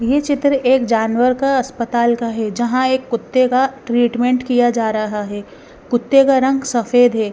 ये चित्र एक जानवर का अस्पताल का है जहाँ एक कुत्ते का ट्रीटमेंट किया जा रहा है कुत्ते का रंग सफेद है।